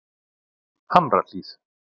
Hamrahlíð